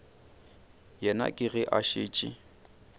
yena ke ge a šetše